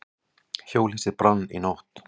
Hjólhýsi brann í nótt